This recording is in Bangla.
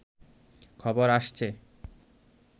খবর আসছে